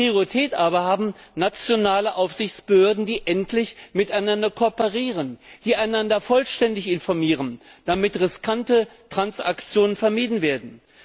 Priorität aber haben nationale Aufsichtsbehörden, die endlich miteinander kooperieren, die einander vollständig informieren, damit riskante Transaktionen vermieden werden.